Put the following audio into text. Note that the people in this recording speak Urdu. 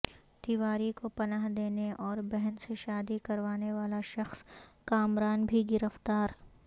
تیواری کو پناہ دینے اور بہن سے شادی کروانے والا شخص کامران بھی گرفتار